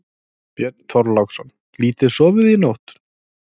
Björn Þorláksson: Lítið sofið í nótt?